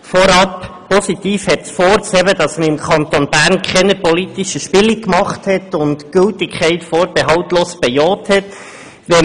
Vorab ist positiv hervorzuheben, dass man im Kanton Bern keine politischen Spiele gespielt hat und die Gültigkeit vorbehaltlos bejaht wurde.